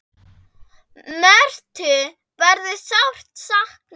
Mörthu verður sárt saknað.